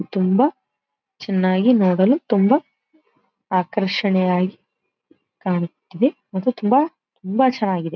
ತುಂಬಾ ಚನ್ನಾಗಿ ನೋಡಲು ತುಂಬಾ ಆಕರ್ಷಣೀಯವಾಗಿ ಕಾಣುತ್ತಿವೆ ಮತ್ತೆ ತುಂಬಾ ತುಂಬಾ ಚನ್ನಾಗಿದೆ.